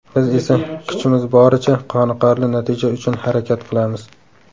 Biz esa kuchimiz boricha, qoniqarli natija uchun harakat qilamiz.